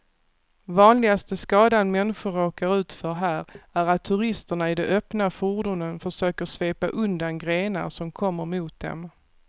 Vanligaste skadan människor råkar ut för här är att turisterna i de öppna fordonen försöker svepa undan grenar som kommer mot dem.